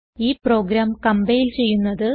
ഈ program compile ചെയ്യുന്നത്